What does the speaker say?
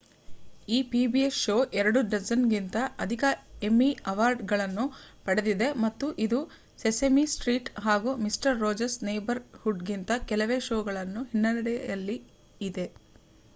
ಈ pbs show ಎರಡು-ಡಜನ್ ಕಿಂತ ಅಧಿಕ ಎಮ್ಮಿ ಅವಾರ್ಡ್ ಗಳನ್ನು ಪಡೆದಿದೆ ಮತ್ತು ಇದು ಸೆಸೆಮಿ ಸ್ಟ್ರೀಟ್ ಹಾಗೂ ಮಿಸ್ಟರ್ ರೋಜರ್ಸ್ ನೇಬರ್ ಹುಡ್ ಗಿಂತ ಕೆಲವೇ ಷೋ ಗಳ ಹಿನ್ನೆಡೆಯಲ್ಲಿ ಇದೆ